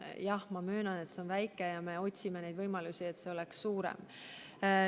Jah, ma möönan, et see on väike, me otsime võimalusi, et see oleks suurem.